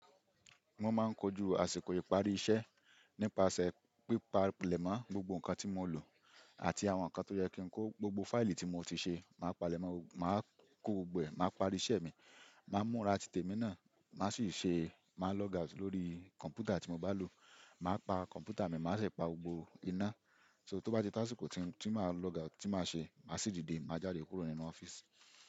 Mo máa ń kojú àsìkò ìparí iṣẹ́ nípasẹ̀ pípa lẹ́mọ́ gbogbo nǹkan tí mo lò àti àwọn nǹkan tó yẹ kí n kó gbogbo fáìlì tí mo ti ṣe, màá palẹ̀mọ́, màá kó gbogbo ẹ̀, màá parí iṣẹ́ mi, màá múra titẹ̀ mi náà, màá sì ṣe, màá log out lórí kọ̀m̀pútà tí mo bá lò, màá pa kọ̀m̀pútà mi, màá sì pa gbogbo iná. So tó bá di táṣíìkì tí màá log out tí màá ṣe, màá sì dìde, màá jáde kúrò nínú ọ́fíìsì.